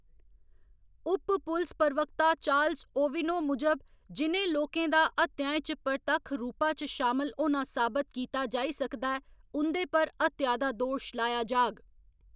उप पुलस प्रवक्ता चार्ल्स ओविनो मूजब, जि'नें लोकें दा हत्याएं च परतक्ख रूपा च शामल होना साबत कीता जाई सकदा ऐ, उंदे पर हत्या दा दोश लाया जाह्‌ग